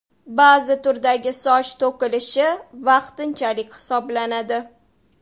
Ba’zi turdagi soch to‘kilishi vaqtinchalik hisoblanadi.